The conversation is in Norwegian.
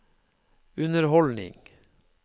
underholdning